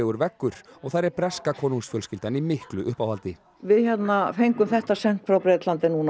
veggur og þar er breska konungsfjölskyldan í miklu uppáhaldi við fengum þetta sent frá Bretlandi núna